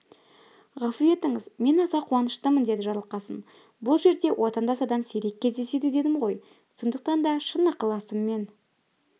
ғафу етіңіз мен аса қуаныштымын деді жарылқасын бұл жерде отандас адам сирек кездеседі дедім ғой сондықтан да шын ықыласыммен